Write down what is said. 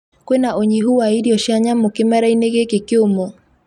kwĩna unyĩhũ wa irĩo cia nyamu kimera-inĩ gikĩ kiumũ.